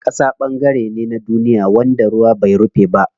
Ƙasa ɓangare ne na duniya wanda ruwa bai rufe ba.